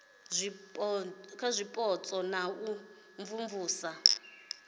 zwipotso na u imvumvusa ya